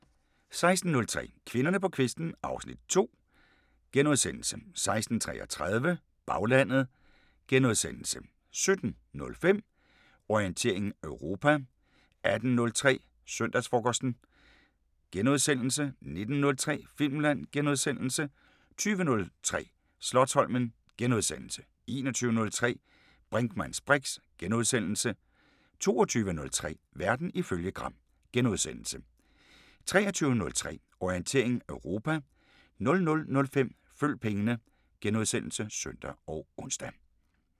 16:03: Kvinderne på kvisten (Afs. 2)* 16:33: Baglandet * 17:05: Orientering Europa 18:03: Søndagsfrokosten * 19:03: Filmland * 20:03: Slotsholmen * 21:03: Brinkmanns briks * 22:03: Verden ifølge Gram * 23:03: Orientering Europa 00:05: Følg pengene *(søn og ons)